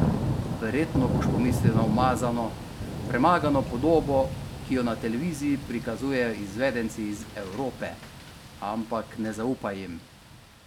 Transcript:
Verjetno boš pomislil na umazano, premagano podobo, ki jo na televiziji prikazujejo izvedenci iz Evrope, ampak ne zaupaj jim.